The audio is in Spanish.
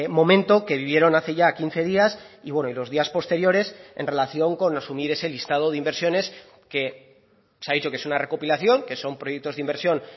momento que vivieron hace ya quince días y bueno y los días posteriores en relación con asumir ese listado de inversiones que se ha dicho que es una recopilación que son proyectos de inversión